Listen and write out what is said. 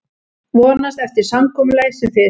Vonast eftir samkomulagi sem fyrst